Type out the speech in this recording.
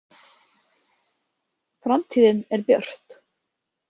Framtíðin er björt